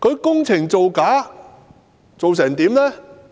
工程造假是甚麼情況呢？